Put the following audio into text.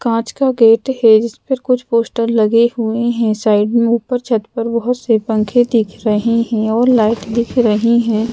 काँच का गेट है जिस पर कुछ पोस्टर लगे हुए हैं साइड में ऊपर छत पर बहुत से पंखे दिख रहे हैं और लाइट दिख रही हैं।